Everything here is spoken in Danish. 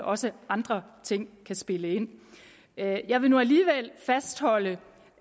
også andre ting kan spille ind jeg jeg vil nu alligevel fastholde